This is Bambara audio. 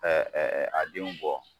a denw bɔ